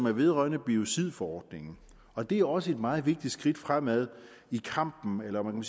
er vedrørende biocidforordningen og det er også et meget vigtigt skridt fremad i kampen om